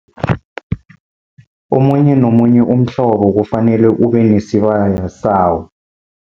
Omunye nomunye umhlobo kufanele ube nesibaya sawo.